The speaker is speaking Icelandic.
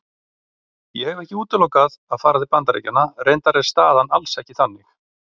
Ég hef ekki útilokað að fara til Bandaríkjanna, reyndar er staðan alls ekki þannig.